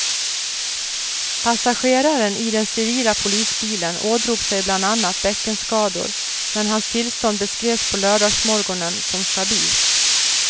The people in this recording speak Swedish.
Passageraren i den civila polisbilen ådrog sig bland annat bäckenskador, men hans tillstånd beskrevs på lördagsmorgonen som stabilt.